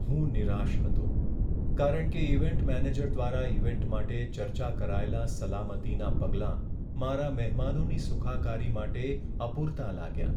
હું નિરાશ હતો કારણ કે ઈવેન્ટ મેનેજર દ્વારા ઈવેન્ટ માટે ચર્ચા કરાયેલાં સલામતીનાં પગલાં મારા મહેમાનોની સુખાકારી માટે અપૂરતાં લાગ્યા.